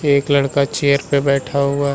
एक लड़का चेयर पे बैठा हुआ --